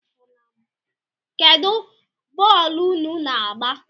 Kedu bọlụ ụnụ´na-agba?